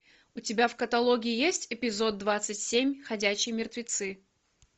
у тебя в каталоге есть эпизод двадцать семь ходячие мертвецы